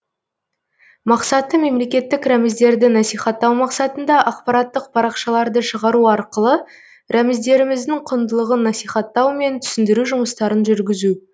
мақсаты мемлекеттік рәміздерді насихаттау мақсатында ақпараттық парақшаларды шығару арқылы рәміздеріміздің құндылығын насихаттау мен түсіндіру жұмыстарын жүргізу